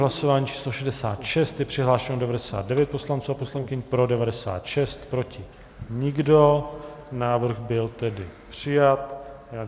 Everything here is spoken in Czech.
Hlasování číslo 66, je přihlášeno 99 poslanců a poslankyň, pro 96, proti nikdo, návrh byl tedy přijat.